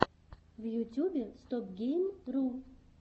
в ютюбе стопгейм ру